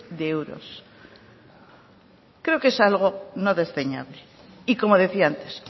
de euros creo que es algo no desdeñable y como decía antes